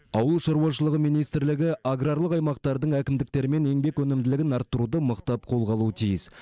ауыл шаруашылығы министрлігі аграрлық аймақтардың әкімдіктерімен еңбек өнімділігін арттыруды мықтап қолға алуы тиіс